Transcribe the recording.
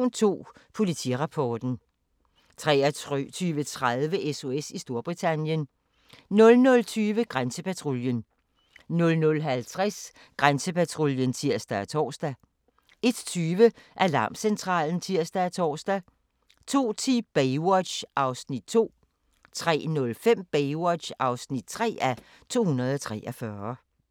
23:00: Station 2: Politirapporten 23:30: SOS i Storbritannien 00:20: Grænsepatruljen 00:50: Grænsepatruljen (tir og tor) 01:20: Alarmcentralen (tir og tor) 02:10: Baywatch (2:243) 03:05: Baywatch (3:243)